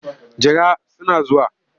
Jira suna zuwa.